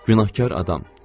Günahkar adam.